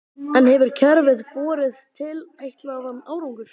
En hefur kerfið borið tilætlaðan árangur?